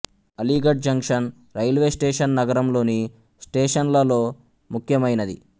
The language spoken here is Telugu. అలీగఢ్ జంక్షన్ రైల్వే స్టేషన్ నగరం లోని స్టేషన్లలో ముఖ్యమైనది